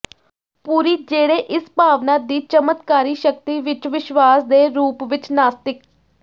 ਪੂਰੀ ਜਿਹੜੇ ਇਸ ਭਾਵਨਾ ਦੀ ਚਮਤਕਾਰੀ ਸ਼ਕਤੀ ਵਿੱਚ ਵਿਸ਼ਵਾਸ ਦੇ ਰੂਪ ਵਿੱਚ ਨਾਸਤਿਕ